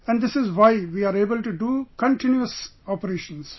And this is why we are able to do continuous operations